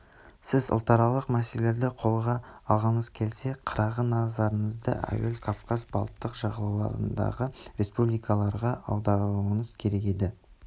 сіз ұлтаралық мәселелерді қолға алғыңыз келсе қырағы назарыңызды әуел кавказ балтық жағалауындағы республикаларға аударуыңыз керек еді